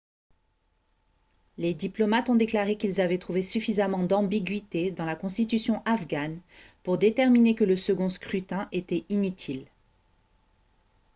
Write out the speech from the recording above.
les diplomates ont déclaré qu'ils avaient trouvé suffisamment d'ambiguïté dans la constitution afghane pour déterminer que le second scrutin était inutile